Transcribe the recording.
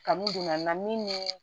Kanu don na min ni